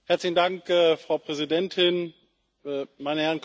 Frau Präsidentin, meine Herren Kommissare!